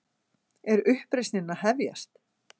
Er uppreisnin að hefjast?